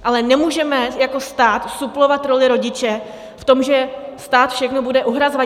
Ale nemůžeme jako stát suplovat roli rodiče v tom, že stát všechno bude uhrazovat.